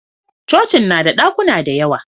cocin na da dakuna da yawa